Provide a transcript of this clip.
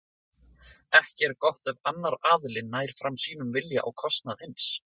Ekki er gott ef annar aðilinn nær fram sínum vilja á kostnað hins.